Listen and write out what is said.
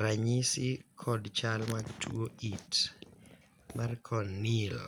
ranyisi kod chal mag tuo it mar Corneal